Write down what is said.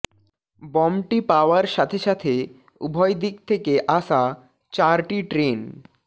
বমটি পাওয়ার সাথে সাথে উভয় দিক থেকে আসা চারটি ট্রেন